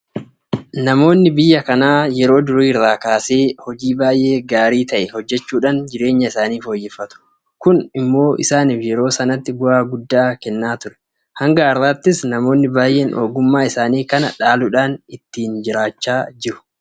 Namoonni biyya kanaa yeroo durii irraa kaasee hojii baay'ee gaarii ta'e hojjechuudhaan jireenya isaanii fooyyeffatu. Kun immoo isaaniif yeroo sanatti bu'aa guddaa kennaa ture. Hanga har'aattis namoonni baay'een ogummaa isaanii kana dhaaluudhaan ittiin jiraachaa jiru.